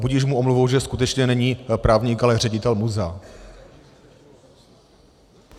Budiž mu omluvou, že skutečně není právník, ale ředitel muzea.